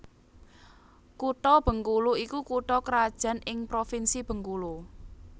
Kutha Bengkulu iku kutha krajan ing Provinsi Bengkulu